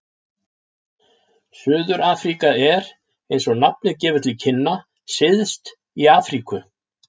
Suður-Afríka er, eins og nafnið gefur til kynna, syðst í Afríku.